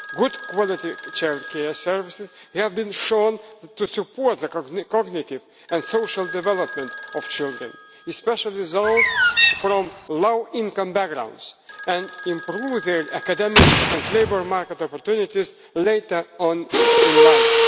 Good quality childcare services have been shown to support the cognitive and social development of children, especially those from low income backgrounds, and improve their academic and labour market opportunities later on in life.